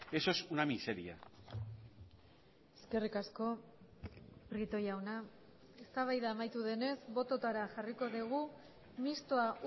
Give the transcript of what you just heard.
eso es una miseria eskerrik asko prieto jauna eztabaida amaitu denez bototara jarriko dugu mistoa